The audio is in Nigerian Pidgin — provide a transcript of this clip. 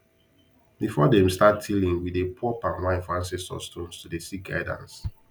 before them start tiling we dey pour palm wine for ancestor stones to dey seek guidance